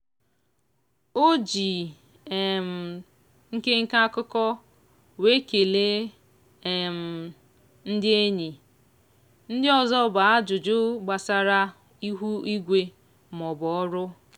o ji um nke nke akụkọ wee kelee um ndị enyi ndị ọzọ bụ ajụjụ gbasara ihu igwe maọbụ ọrụ.